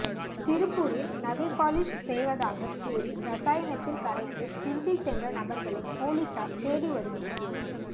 திருப்பூரில் நகை பாலிஷ் செய்வதாகக் கூறி ரசாயனத்தில் கரைத்து திருடிச் சென்ற நபர்களை போலீசார் தேடி வருகின்றனர்